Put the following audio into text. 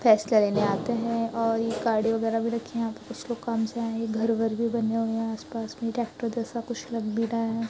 लेने आते हैं और गाड़ी वगैरह भी लगे हुए हैं और कुछ लोग कम से आए हैं घर-घर भी बने हैं आस पास में ट्रैक्टर जैसे कुछ लग भी रहा है।